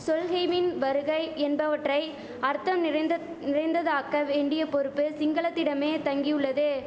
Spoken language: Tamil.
சொல்ஹெய்வின் வருகை என்பவற்றை அர்த்தம் நிறைந்தத் நிறைந்ததாக்க வேண்டிய பொறுப்பு சிங்களத்திடமே தங்கியுள்ளது